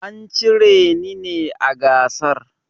An cire ni ne a gasar.